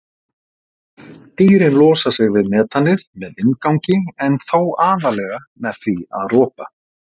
Dýrin losa sig við metanið með vindgangi en þó aðallega með því að ropa.